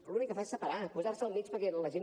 l’únic que fa és separar posar se al mig perquè la gent